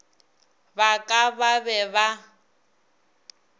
ba ka ba be ba